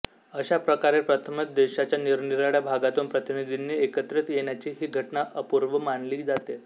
अशा प्रकारे प्रथमच देशाच्या निरनिराळ्या भागातून प्रतिनिधीनी एकत्रित येण्याची हि घटना अपूर्व मानली जाते